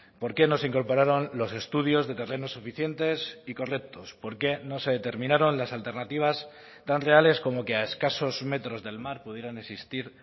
por qué no se incorporaron los estudios de terrenos suficientes y correctos por qué no se determinaron las alternativas tan reales como que a escasos metros del mar pudieran existir